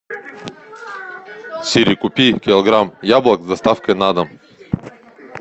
сири купи килограмм яблок с доставкой на дом